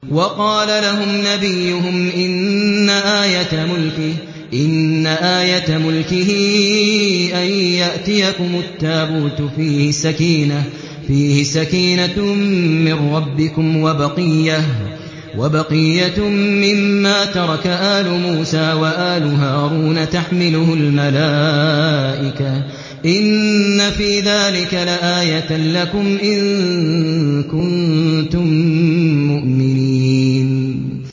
وَقَالَ لَهُمْ نَبِيُّهُمْ إِنَّ آيَةَ مُلْكِهِ أَن يَأْتِيَكُمُ التَّابُوتُ فِيهِ سَكِينَةٌ مِّن رَّبِّكُمْ وَبَقِيَّةٌ مِّمَّا تَرَكَ آلُ مُوسَىٰ وَآلُ هَارُونَ تَحْمِلُهُ الْمَلَائِكَةُ ۚ إِنَّ فِي ذَٰلِكَ لَآيَةً لَّكُمْ إِن كُنتُم مُّؤْمِنِينَ